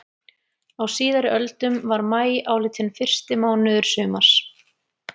Á síðari öldum var maí álitinn fyrsti mánuður sumars.